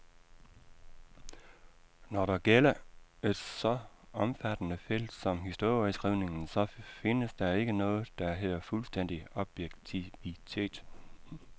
Når det gælder et så omfattende felt som historieskrivningen, så findes der ikke noget, der hedder fuldstændig objektivitet.